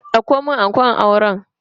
Dauko mun ankon auren.